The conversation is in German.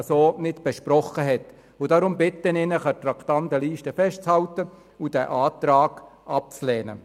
Deshalb bitte ich Sie, an der Traktandenliste festzuhalten und den Antrag abzulehnen.